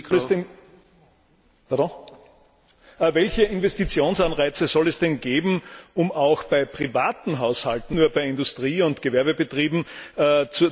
Welche Investitionsanreize soll es denn geben, um auch bei privaten Haushalten und nicht nur bei Industrie und Gewerbebetrieben den Umstieg auf erneuerbare Energien zu forcieren?